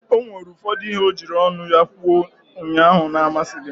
O nwere ụfọdụ ihe o jiri ọnụ ya kwuo ụnyaahụ na-amasịghị m.